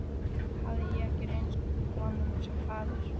Hafði ég ekki reynst honum sem faðir?